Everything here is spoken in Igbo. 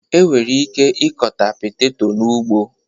E nwere ike ịkọta peteto n'ugbo